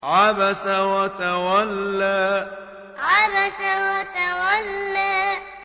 عَبَسَ وَتَوَلَّىٰ عَبَسَ وَتَوَلَّىٰ